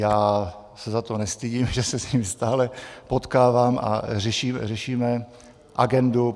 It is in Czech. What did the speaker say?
Já se za to nestydím, že se s nimi stále potkávám a řešíme agendu.